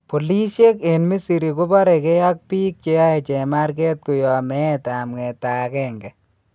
Polisyeek en Misri koparekee ak biik cheyae chemarkeet koyaab meetab ng'etaa agenge